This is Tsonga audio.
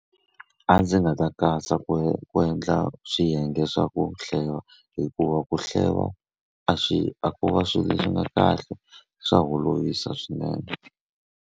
A ndzi nga ta katsa ku ku endla swiyenge swa ku hleva, hikuva ku hleva a swi a ko va swilo leswi nga kahle swa holovisa swinene.